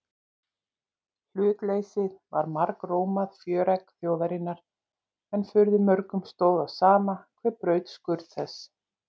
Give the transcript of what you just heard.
Hlutleysið var margrómað fjöregg þjóðarinnar en furðu mörgum stóð á sama hver braut skurn þess.